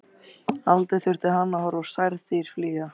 Aldrei þurfti hann að horfa á særð dýr flýja.